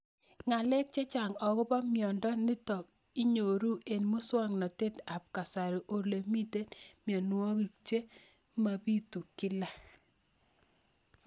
Ng'alek chechang' akopo miondo nitok inyoru eng' muswog'natet ab kasari ole mito mianwek che mapitu kila